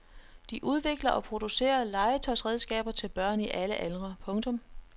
De udvikler og producerer legetøjsredskaber til børn i alle aldre. punktum